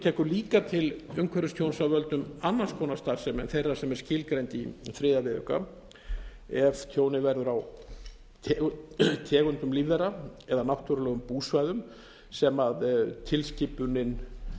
tekur líka til umhverfistjóns af völdum annars konar starfsemi en þeirrar sem er skilgreind í þriðja viðauka ef tjónið verður á tegundum lífvera eða náttúrulegum búsvæðum sem tilskipunin